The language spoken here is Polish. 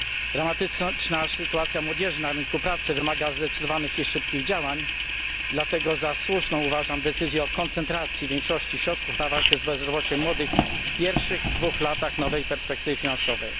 Dramatyczna sytuacja młodzieży na rynku pracy wymaga zdecydowanych i szybkich działań, dlatego za słuszną uważam decyzję o koncentracji większości środków na walkę z bezrobociem młodych w pierwszych dwóch latach nowej perspektywy finansowej.